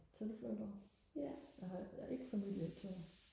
tilflytter jeg har ikke familie i Tønder